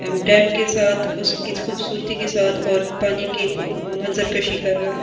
के साथ उसकी खूबसूरती के साथ और पानी के कर रहा है।